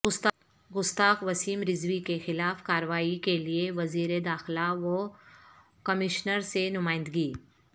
گستاخ وسیم رضوی کے خلاف کارروائی کیلئے وزیر داخلہ و کمشنر سے نمائندگی